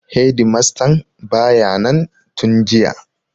Hedimastan ba ya nan tun jiya.